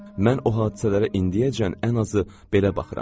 Mən o hadisələrə indiyəcən ən azı belə baxıram.